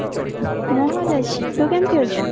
ମୁଁ ଭଲ ଅଛି ତୁ କେମିତି ଅଛୁ